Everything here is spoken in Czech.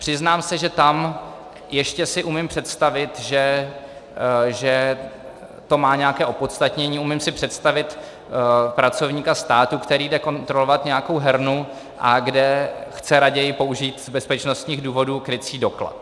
Přiznám se, že tam ještě si umím představit, že to má nějaké opodstatnění, umím si představit pracovníka státu, který jde kontrolovat nějakou hernu, a kde chce raději použít z bezpečnostních důvodů krycí doklad.